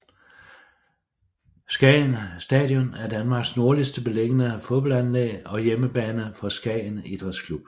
Skagen Stadion er Danmark nordligst beliggende fodboldanlæg og hjemmebane for Skagen Idræts Klub